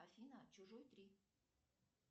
афина чужой три